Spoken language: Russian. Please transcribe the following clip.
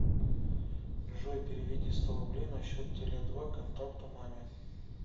джой переведи сто рублей на счет теле два контакту маме